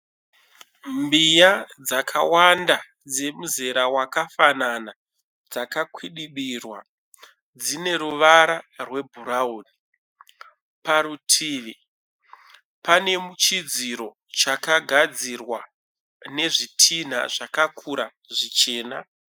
Mbiya dzakawanda dzemizera wakafanana dzakakwidibirwa. Dzine ruvara rwe bhurauni. Parutivi pane chidziro chakagadzirwa nezvitina zvakakura zvichena.